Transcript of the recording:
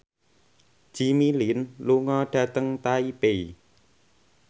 Jimmy Lin lunga dhateng Taipei